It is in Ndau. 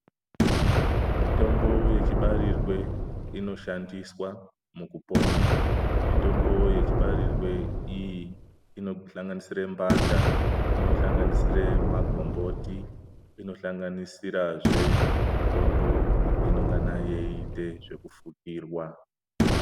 Mitombo yechibarirwe inoshandiswa mukupona mitombo yechibariswe iyi inosanganisira mbanda inosanganisira magomboti inosanganisira mitombo inongana yeita zvekufukurwa.